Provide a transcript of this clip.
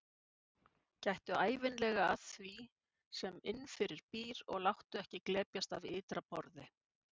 Gættu ævinlega að því sem innifyrir býr og láttu ekki glepjast af ytra borði.